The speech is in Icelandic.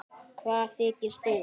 Hvað þykist þú.